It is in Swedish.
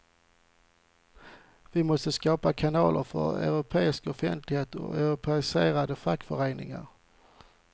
Vi måste skapa kanaler för europeisk offentlighet och europeisera fackföreningarna.